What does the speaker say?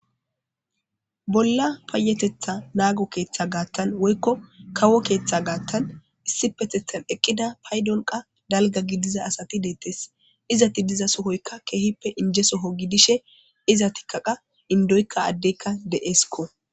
Bolla payateta nago ootho ketha gathan woyko kawo keta gatan issipetetan eqida paydon dalga gidiza asati detes. Izet de'za sohoyka keehippe inje Soho gidishe izetika qas indoyka adeyka de'esko.